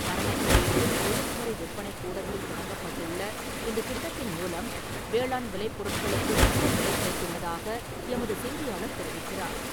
பரமத்திவேலுார் ஒழுங்குமுறை விற்பனை கூடத்தில் தொடங்கப்பட்டுள்ள இந்த திட்டத்தின் மூலம் வேளாண் விலைப் பொருட்களுக்கு நல்ல விலை கிடைத்துள்ளதாக எமது செய்தியாளர் தெரிவிக்கிறார்.